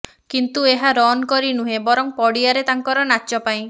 କିନ୍ତୁ ଏହା ରନ୍ କରି ନୁହେଁ ବରଂ ପଡ଼ିଆରେ ତାଙ୍କର ନାଚ ପାଇଁ